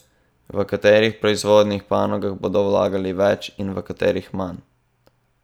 V katerih proizvodnih panogah bodo vlagali več in v katerih manj?